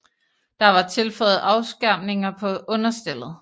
Der var tilføjet afskærmninger på understellet